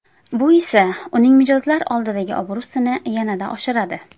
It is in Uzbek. Bu esa uning mijozlar oldidagi obro‘sini yanada oshiradi.